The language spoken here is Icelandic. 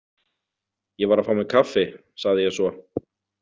Ég var að fá mér kaffi, sagði ég svo.